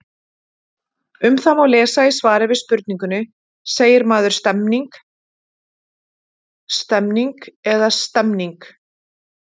Um það má lesa í svari við spurningunni Segir maður stemming, stemning eða stemmning?